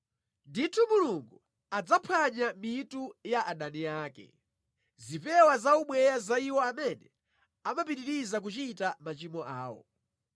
Ndithu Mulungu adzaphwanya mitu ya adani ake, zipewa za ubweya za iwo amene amapitiriza kuchita machimo awo.